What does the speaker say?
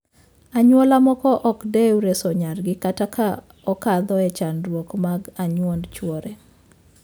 Anyuola moko ok odewo reso nyargi kata ka okadho e chandruok mag anyuond chwore.